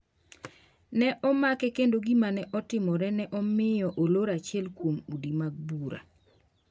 Ne omake kendo gima ne otimore ne omiyo olor achiel kuom udi mag bura.